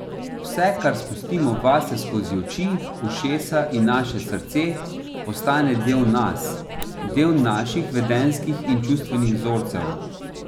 Vse, kar spustimo vase skozi oči, ušesa in naše srce, postane del nas, del naših vedenjskih in čustvenih vzorcev.